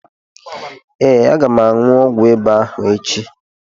Ee, M ga-aṅu ọgwụ ịba ahụ echi.